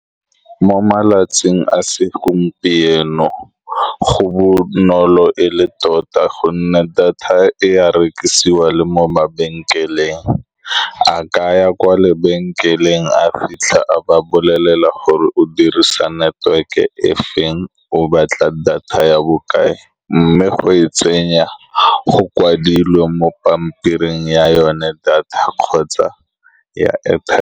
Mo malatsing a segompieno go bonolo e le tota, ka gonne data e ya rekisiwa le mo mabenkeleng. A ka ya kwa lebenkeleng a fitlha a ba bolelela gore o dirisa network-e efeng, o batla data ya bokae, mme go e tsenya go kwadilwe mo pampiring ya yone, data kgotsa ya airtime.